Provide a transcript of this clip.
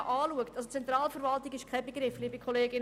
«Zentralverwaltung» ist kein klarer Begriff.